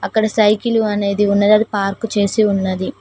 అక్కడ సైకిలు అనేది ఉన్నది అది పార్కు చేసి ఉన్నది.